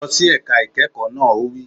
Lọ sí ẹ̀ka ìkẹ́kọ̀ọ́ náà! Ó wí